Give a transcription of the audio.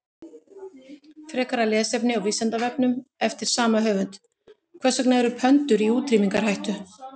Frekara lesefni á Vísindavefnum eftir sama höfund: Hvers vegna eru pöndur í útrýmingarhættu?